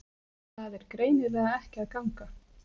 Það er greinilega ekki að ganga